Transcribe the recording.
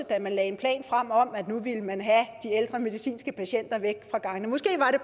da man lagde en plan frem om at nu ville man have de ældre medicinske patienter væk fra gangene måske var det